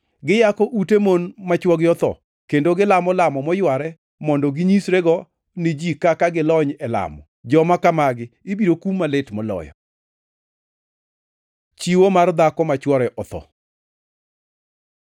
Giyako ute mon ma chwogi otho kendo gilamo lamo moyware mondo ginyisrego ni ji kaka gilony e lamo. Joma kamagi ibiro kum malit moloyo.” Chiwo mar dhako ma chwore otho